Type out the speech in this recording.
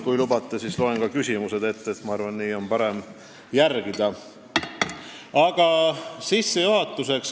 Kui lubate, siis loen ka küsimused ette, sest ma arvan, et nii on teil parem jälgida.